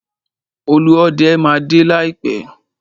Olúọdẹ máa dé láìpẹ́.